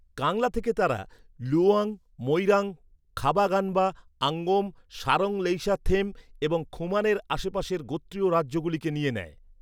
কাংলা থেকে তারা, লুওয়াং, মোইরাং, খাবা গানবা, আঙ্গোম, সারং লেইশাংথেম এবং খুমানের আশেপাশের গোত্রীয় রাজ্যগুলিকে নিয়ে নেয়।